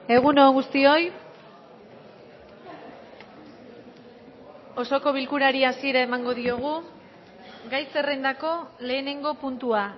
egun on guztioi osoko bilkurari hasiera emango diogu gai zerrendako lehenengo puntua